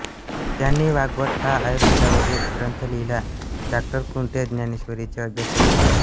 त्यांनी वाग्भट हा आयुर्वेदावरील ग्रंथ लिहिला डॉ कुंटे ज्ञानेश्वरीचे अभ्यासक होते